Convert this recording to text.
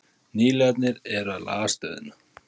Nýliðarnir eru að laga stöðuna